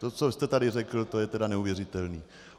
To, co jste tady řekl, je tedy neuvěřitelné.